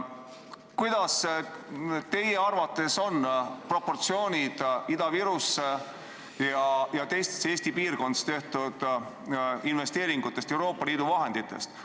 Millised on teie arvates Ida-Virumaale ja teistesse Eesti piirkondadesse Euroopa Liidu vahenditest tehtud investeeringute proportsioonid?